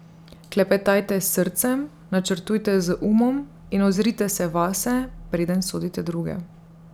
Klepetajte s srcem, načrtujte z umom in ozrite se vase, preden sodite druge.